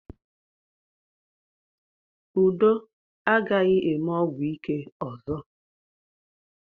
Udo agaghị eme ọgwụ ike ọzọ.